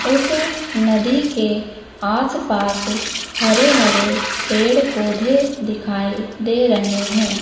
उस नदी के आस पास हरे हरे पेड़ पौधे दिखाई दे रहे हैं।